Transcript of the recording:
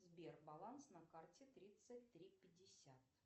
сбер баланс на карте тридцать три пятьдесят